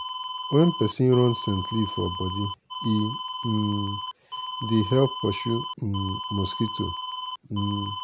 wen peson run scent leaf for bodi e um dey help pursue um mosquito. um